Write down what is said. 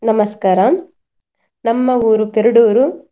ನಮಸ್ಕಾರ. ನಮ್ಮ ಊರು ಪೆರ್ಡೂರು.